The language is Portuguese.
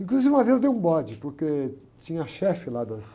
Inclusive uma vez eu dei um bode, porque tinha a chefe lá das...